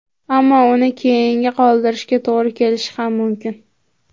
Ammo uni keyinga qoldirishga to‘g‘ri kelishi ham mumkin.